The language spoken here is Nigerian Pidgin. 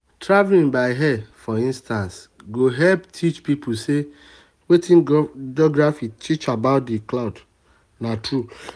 for some people if dem get heartbreak dem dey like travel to comot for their old environment.